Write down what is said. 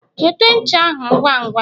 wete ncha ahu ngwa ngwa!